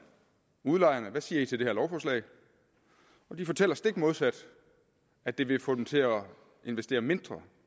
udlejerne hvad siger i til det her lovforslag og de fortæller stik modsat at det vil få dem til at investere mindre